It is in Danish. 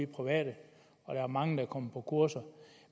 private og der er mange der er kommet på kurser